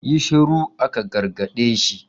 Yi shuru, aka gargaɗi shi!